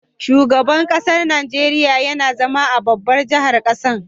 Shugaban ƙasar Nigeria YAna zama a babbar jahar ƙasar